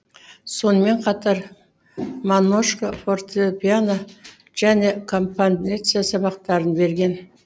сонымен қатар монушко фортепиано және композиция сабақтарын берген